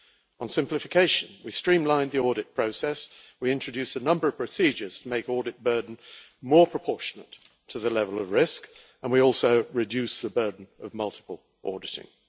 On simplification, we streamlined the audit process, we introduced a number of procedures to make the audit burden more proportionate to the level of risk, and we also reduced the burden of multiple auditing.